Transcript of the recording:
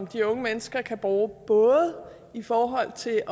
de unge mennesker kan bruge både i forhold til